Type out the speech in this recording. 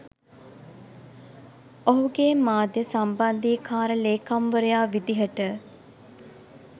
ඔහුගේ මාධ්‍ය සම්බන්ධීකාර ලේකම්වරයා විදිහට